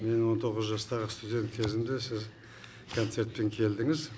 мен он тоғыз жастағы студент кезімде сіз концертпен келдіңіз